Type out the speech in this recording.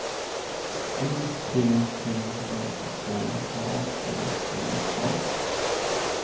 U P P S K A T T A